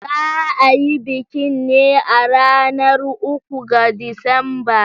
Za a yi bikin ne a ranar uku ga Disamba.